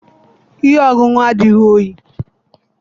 ihe ọṅụṅụ adịghị oyi